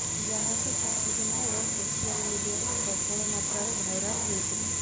ଯାହାକି କିଛି ଦିନ ହେବ ସୋସିଆଲ ମିଡିଆରେ ପ୍ରବଳ ମାତ୍ରାରେ ଭାଇରାଲ ହୋଇଥିଲା